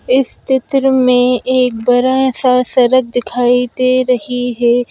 इस चित्र में एक बड़ा सा सड़क दिखाई दे रही है।